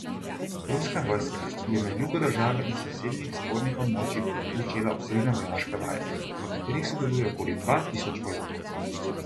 Ruska vojska je na jugu države in sosednjih spornih območjih začela obsežne vojaške vaje, v katerih sodeluje okoli dva tisoč vojakov.